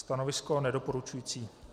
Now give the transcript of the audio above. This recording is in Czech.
Stanovisko nedoporučující.